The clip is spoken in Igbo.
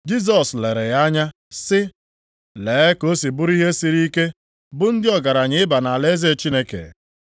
Jisọs lere ya anya sị, “Lee ka o si bụrụ ihe siri ike bụ ndị ọgaranya ịba nʼalaeze Chineke.